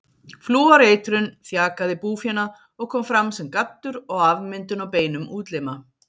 Flúoreitrun þjakaði búfénað og kom fram sem gaddur og afmyndun á beinum útlima.